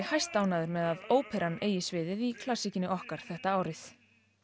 hæstánægður með að óperan eigi sviðið í okkar þetta árið